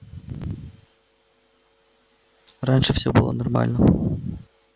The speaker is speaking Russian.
раньше все было нормально